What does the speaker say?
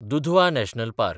Dudhwa national park